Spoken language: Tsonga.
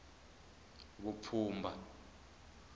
vupfhumba